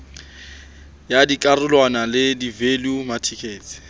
ya dikarolwana le value matices